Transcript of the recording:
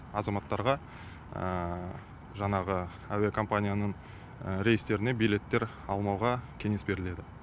азаматтарға жаңағы әуе компанияның рейстеріне билеттер алмауға кеңес беріледі